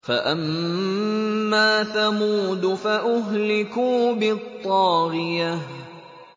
فَأَمَّا ثَمُودُ فَأُهْلِكُوا بِالطَّاغِيَةِ